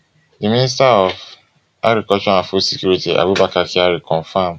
di minister of agriculture and food security abubakar kyari confam